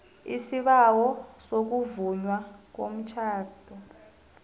isibawo sokuvunywa komtjhado